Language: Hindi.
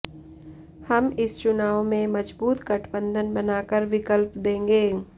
हम इस चुनाव में मजबूत गठबंधन बनाकर विकल्प देंगे